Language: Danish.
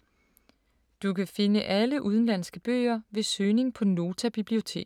Du kan finde alle udenlandske bøger ved søgning på Nota Bibliotek.